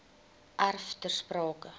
erf ter sprake